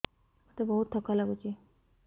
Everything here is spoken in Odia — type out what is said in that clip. ମୋତେ ବହୁତ୍ ଥକା ଲାଗୁଛି